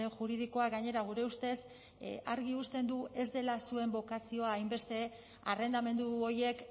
juridikoa gainera gure ustez argi uzten du ez dela zuen bokazioa hainbeste arrendamendu horiek